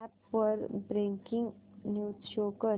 app वर breaking news show कर